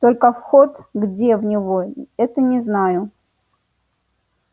только вход где в него это не знаю